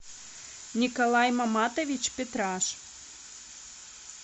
николай маматович петраш